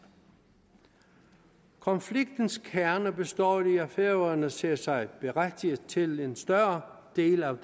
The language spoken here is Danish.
konfliktens kerne består i at færøerne ser sig berettiget til en større del af